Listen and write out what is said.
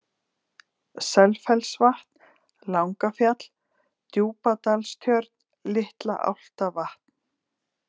Selfellsvatn, Langafjall, Djúpadalstjörn, Litla-Álftavatn